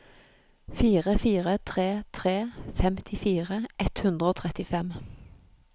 fire fire tre tre femtifire ett hundre og trettifem